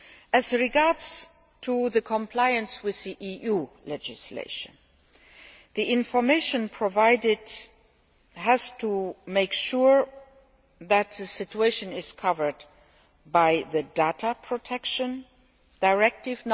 As regards compliance with EU legislation, the information provided has to make sure that the situation is covered by the Data Protection Directive.